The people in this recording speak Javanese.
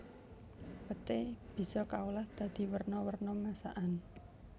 Peté bisa kaolah dadi werna werna masakan